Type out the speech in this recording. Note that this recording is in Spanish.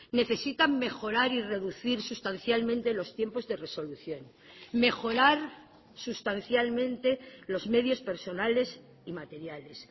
necesitan mejorar y reducir sustancialmente los tiempos de resolución mejorar sustancialmente los medios personales y materiales